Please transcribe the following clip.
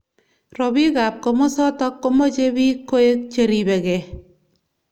Robik ab kimosotok komeche bik koek cheribeki.